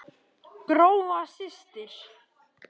Gróa systir.